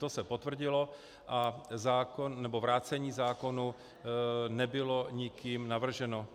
To se potvrdilo a vrácení zákona nebylo nikým navrženo.